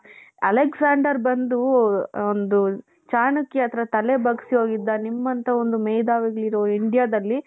Alexander ಬಂದು ಒಂದು ಚಾಣಕ್ಯ ಹತ್ತಿರ ಬಂದು ತಲೆ ಬಗ್ಗಿಸಿ ಹೋಗಿದ್ದ. ನಿಮ್ಮಂಥ ಒಂದು ಮೇಧಾವಿಗಳಿರೋ Indiaದಲ್ಲಿ